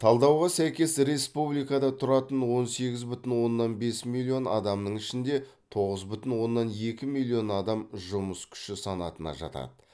талдауға сәйкес республикада тұратын он сегіз бүтін оннан бес миллион адамның ішінде тоғыз бүтін оннан екі миллион адам жұмыс күші санатына жатады